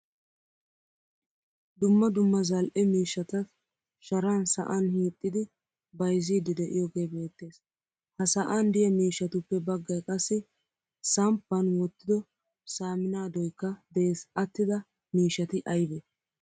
Dumma dumma zal'e miishshatat sharan sa'an hiixidi bayzzidi de'iyoge beettees. Ha sa'an de'iya miishshatuppe baggay qassi samppan wottido saaminadoykka de'ees Attida miishshatti aybe?